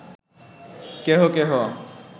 কেহ কেহ